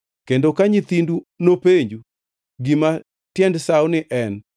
Kendo ka nyithindu nopenju gima tiend sawoni en,